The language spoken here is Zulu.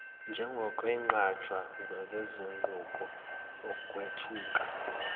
njengokwenqatshwa kwezinguquko ukwethuka